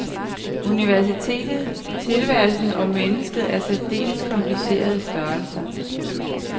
Universet, tilværelsen og mennesket er særdeles komplicerede størrelser.